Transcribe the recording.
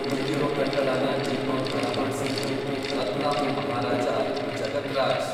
ಈಗಿರೋ ಕಟ್ಟಡನ ಜೀರ್ಣೋದ್ಧಾರ ಮಾಡ್ಸಿದ್ದು ರತ್ಲಾಮ್ನ ಮಹಾರಾಜ ಜಗತ್ ರಾಜ್.